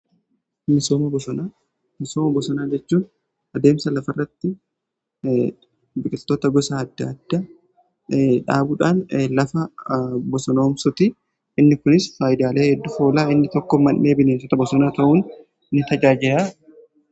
Misooma bosonaa jechuun adeemsa lafa irratti biqitota gosa adda adda dhaabuudhaan lafa bosonoomsuti. Inni kunis faayidaalee hedduuf oolaa inni tokko man'ee bineensotaa bosonaa ta'uun ni tajaajila.